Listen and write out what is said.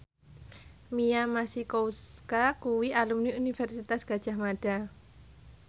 Mia Masikowska kuwi alumni Universitas Gadjah Mada